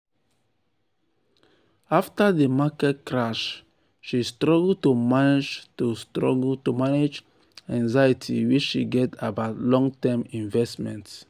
"afta di market crash she struggle to manage struggle to manage di anxiety wey she get about long-term investments."